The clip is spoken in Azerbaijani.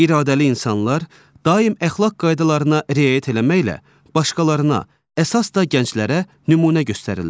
İradəli insanlar daim əxlaq qaydalarına riayət eləməklə başqalarına, əsas da gənclərə nümunə göstərirlər.